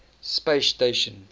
space station